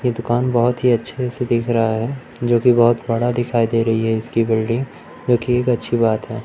की दुकान बहोत ही अच्छे से दिख रहा है जो की बहोत बड़ा दिखाई दे रही है इसकी बिल्डिंग जो की एक अच्छी बात है।